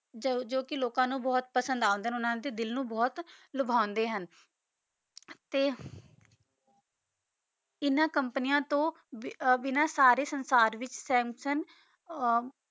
ਜੋ ਕੇ ਲੋਕਾਂ ਨੂ ਬੋਹਤ ਪਸੰਦ ਆਂਡੇ ਹਨ ਓਨਾਂ ਦੇ ਦਿਲ ਨੂ ਬੋਹਤ ਲੁਭਾਵੰਡੀ ਹਨ ਤੇ ਇਨਾਂ ਕੋਮ੍ਪਾਨਿਯਾਂ ਤੋਂ ਬਿਨਾ ਸਾਰੇ ਸੰਸਾਰ ਵਿਚ ਸੰਸੁੰਗ ਓਰ